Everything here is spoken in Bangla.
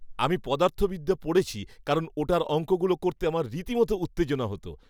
আমি পদার্থবিদ্যা পড়েছি। কারণ ওটার অঙ্কগুলো করতে আমার রীতিমতো উত্তেজনা হত।